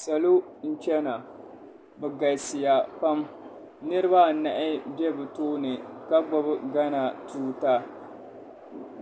Salo n-chana bɛ galisiya pam niriba anahi be bɛ tooni ka gbubi Gana tuuta